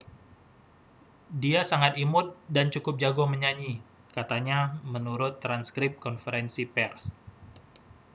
dia sangat imut dan cukup jago menyanyi katanya menurut transkrip konferensi pers